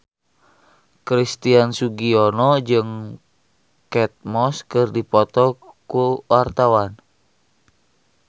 Christian Sugiono jeung Kate Moss keur dipoto ku wartawan